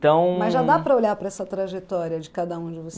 Então... Mas já dá para olhar para essa trajetória de cada um de